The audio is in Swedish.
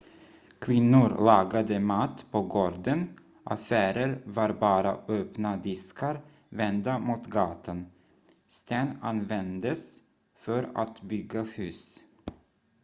kvinnor lagade mat på gården affärer var bara öppna diskar vända mot gatan sten användes för att bygga hus